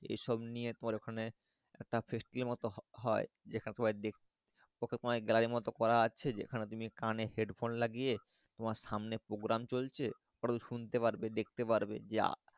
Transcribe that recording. এসব নিয়ে তো আর ওখানে একটা Festival হয় যেটা তোমার Gallery মতো করা আছে যে যেখানে তুমি কানে Head Phone লাগিয়ে তোমার সামনে Program চলছে তাহলে শুনতে পারবে দেখতে পারবে যে।